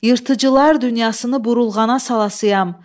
Yırtıcılar dünyasını burulğana salasıyam.